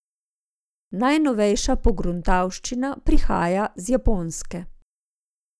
Najnovejša pogruntavščina prihaja z Japonske.